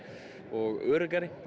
og öruggari